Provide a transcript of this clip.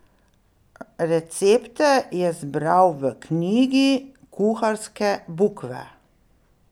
Recepte je zbral v knjigi Kuharske bukve.